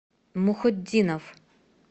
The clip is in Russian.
мухутдинов